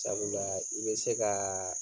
Sabula i bɛ se ka